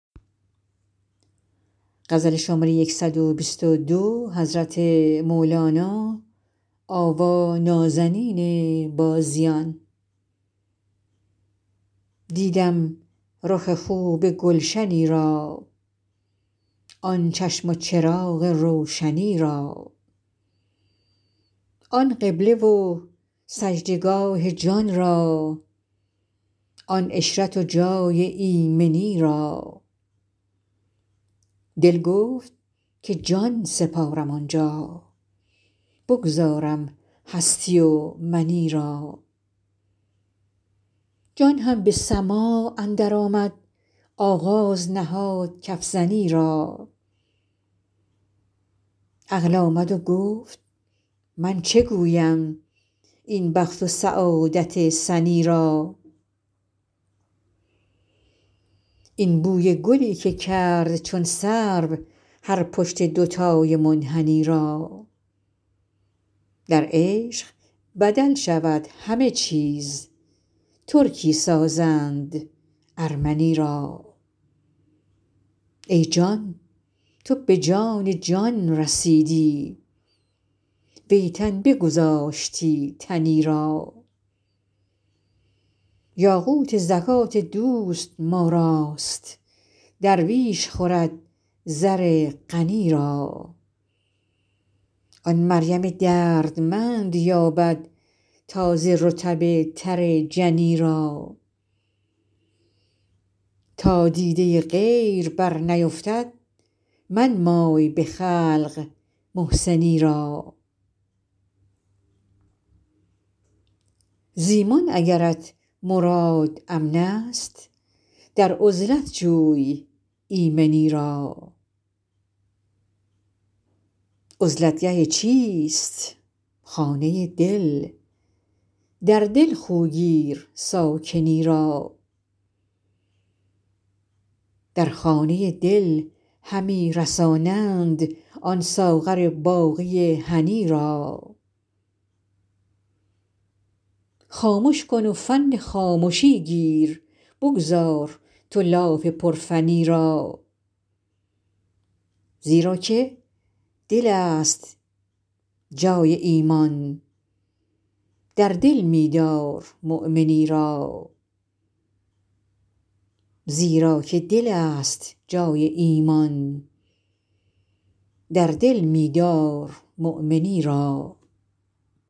دیدم رخ خوب گلشنی را آن چشم و چراغ روشنی را آن قبله و سجده گاه جان را آن عشرت و جای ایمنی را دل گفت که جان سپارم آن جا بگذارم هستی و منی را جان هم به سماع اندرآمد آغاز نهاد کف زنی را عقل آمد و گفت من چه گویم این بخت و سعادت سنی را این بوی گلی که کرد چون سرو هر پشت دوتای منحنی را در عشق بدل شود همه چیز ترکی سازند ارمنی را ای جان تو به جان جان رسیدی وی تن بگذاشتی تنی را یاقوت زکات دوست ما راست درویش خورد زر غنی را آن مریم دردمند یابد تازه رطب تر جنی را تا دیده غیر برنیفتد منمای به خلق محسنی را ز ایمان اگرت مراد امنست در عزلت جوی ایمنی را عزلت گه چیست خانه دل در دل خو گیر ساکنی را در خانه دل همی رسانند آن ساغر باقی هنی را خامش کن و فن خامشی گیر بگذار تو لاف پرفنی را زیرا که دلست جای ایمان در دل می دارمؤمنی را